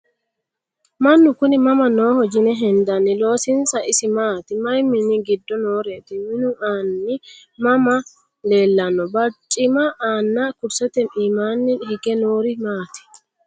Mannu kunni mama nooho yinne hendanni? loosinsa isi maatti? Mayi minni giddo nooreti? Minu anni mama leelanno? Baricimma nna kurisette iimmanni hige noori maatti?